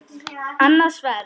Annað sverð.